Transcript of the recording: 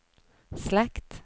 slekt